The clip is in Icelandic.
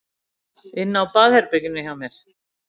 Inni á baðherberginu hjá mér?